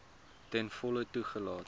ten volle toegelaat